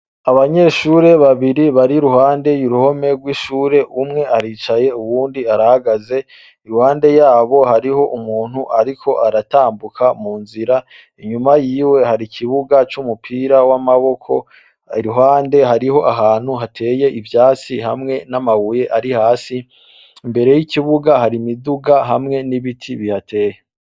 Abanyeshure babiri bari iruhande y'uruhome rw'ishure. Umwe aricaye, uwundi arahagaze. Iruhande yabo hariho umuntu ariko aratambuka mu nzira. Inyuma yiwe hari ikibuga c'umupira w'amaboko. Iruhande hariho ahantu hateye ivyatsi hamwe n'amabuye ari hasi. Imbere y'ikibuga hari imiduga hamwe n'ibiti bihateye.